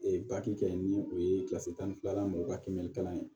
kɛ ni o ye tan ni filanan mɔgɔw ka kimɛni kalan ye